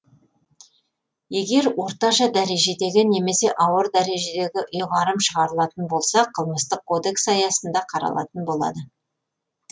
егер орташа дәрежедегі немесе ауыр дәрежедегі ұйғарым шығарылатын болса қылмыстық кодекс аясында қаралатын болады